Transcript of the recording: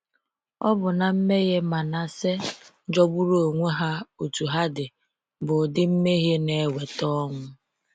Ọ̀ bụ na mmehie Manase, jọgburu onwe ha otú ha dị, bụ ụdị mmehie na eweta ọnwụ?